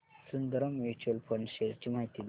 Sundaram mutual fund shares ची माहिती दे